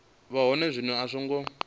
vha hone zwino a songo